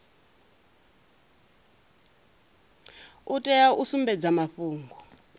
u tea u sumbedza mafhungo